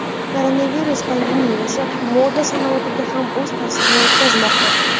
Koronavirus pandemiyasi moda sanoatiga ham o‘z ta’sirini o‘tkazmoqda.